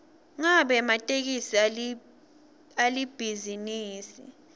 ngabe ematekisi alibhizinisi